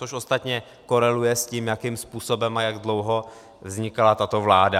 Což ostatně koreluje s tím, jakým způsobem a jak dlouho vznikala tato vláda.